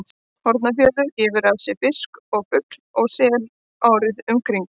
Hornafjörður gefur af sér fisk og fugl og sel árið um kring.